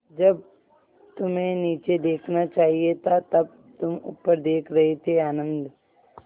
जब तुम्हें नीचे देखना चाहिए था तब तुम ऊपर देख रहे थे आनन्द